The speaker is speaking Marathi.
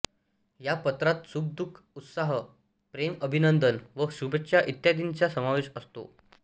या पत्रात सुखदुःख उत्साह प्रेम अभिनंदन व शुभेच्छा इत्यादींचा समावेश असतो